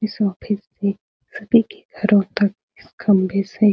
इस सभी के घरों तक इस खंभे से --